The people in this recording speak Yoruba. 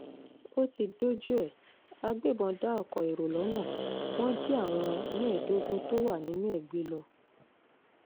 ó ti dójú ẹ̀ àgbébọ́n dá oko èrò lọ́nà wọn jí àwọn mẹ́ẹ̀ẹ́dógún tó wà nínú ẹ̀ gbé lọ